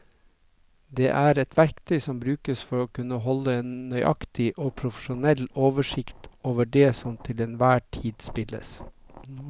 Det er et verktøy som brukes for å kunne holde en nøyaktig og profesjonell oversikt over det som til enhver tid spilles.